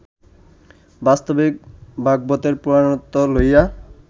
বাস্তবিক ভাগবতের পুরাণত্ব লইয়া